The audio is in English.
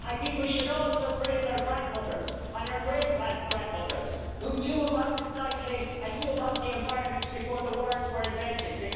We should also praise our grandmothers and our great grandmothers, who knew about recycling and knew about the environment before the words were invented, because they lived it.